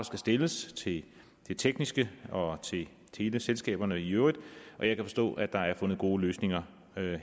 skal stilles til det tekniske og til teleselskaberne i øvrigt og jeg kan forstå at der er fundet gode løsninger